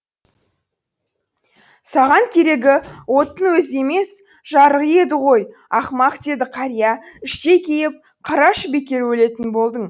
саған керегі оттың өзі емес жарығы еді ғой ақымақ деді қария іштей кейіп қарашы бекер өлетін болдың